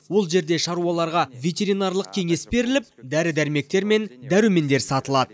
ол жерде шаруаларға ветеринарлық кеңес беріліп дәрі дәрмектер мен дәрумендер сатылады